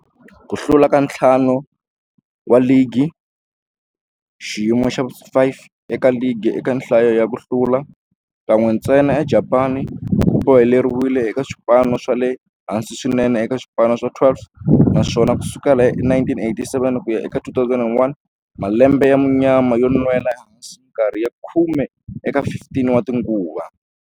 Ku hlula ka ntlhanu wa ligi, xiyimo xa vu-5 eka ligi eka nhlayo ya ku hlula, kan'we ntsena eJapani, ku boheleriwile eka swipano swa le hansi swinene eka swipano swa 12, naswona ku sukela hi 1987 ku ya eka 2001, malembe ya munyama yo nwela ehansi minkarhi ya khume eka 15 tinguva.